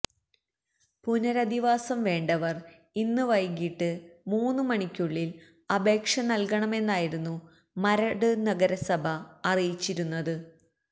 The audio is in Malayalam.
പുനരധിവാസം വേണ്ടവർ ഇന്ന് വൈകിട്ട് മൂന്ന് മണിക്കുള്ളില് അപേക്ഷ നല്കണമെന്നായിരുന്നു മരട് നഗരസഭ അറിയിച്ചിരുന്നത്